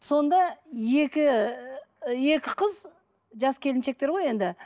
сонда екі ы екі қыз жас келіншектер қой енді